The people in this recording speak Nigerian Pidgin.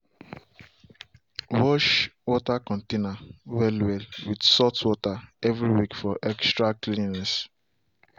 wash water container well well with salt water every week for extra cleanliness.